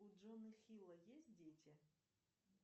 у джона хилла есть дети